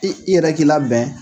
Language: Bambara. I i yɛrɛ k'i labɛn